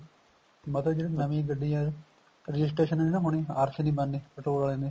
ਮਤਲਬ ਜਿਹੜੇ ਨਵੀਂ ਗੱਡੀਆਂ registration ਨੀ ਨਾ ਹੋਣਾ RC ਨੀ ਬਣਨੀ petrol ਆਲਿਆਂ ਦੀ